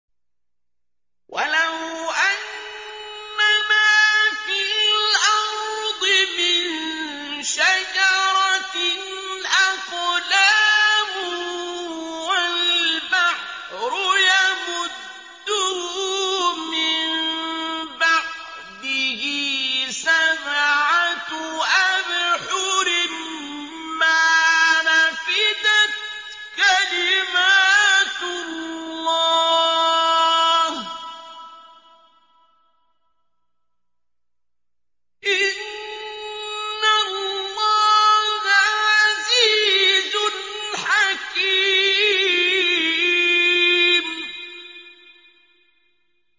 وَلَوْ أَنَّمَا فِي الْأَرْضِ مِن شَجَرَةٍ أَقْلَامٌ وَالْبَحْرُ يَمُدُّهُ مِن بَعْدِهِ سَبْعَةُ أَبْحُرٍ مَّا نَفِدَتْ كَلِمَاتُ اللَّهِ ۗ إِنَّ اللَّهَ عَزِيزٌ حَكِيمٌ